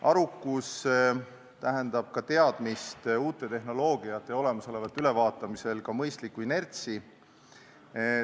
Arukus tähendab teadmist uuest tehnoloogiast ja olemasoleva ülevaatamisel mõistlikku inertsi.